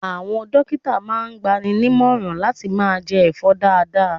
Àwọn dókítà máa ń gbaninímọ̀ran láti máa jẹ ẹ̀fọ́ dáadáa.